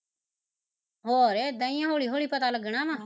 ਹੋਰ ਏਦਾ ਈ ਐ ਹੋਲੀ ਹੋਲੀ ਪਤਾ ਲੱਗਣਾ ਵਾਂ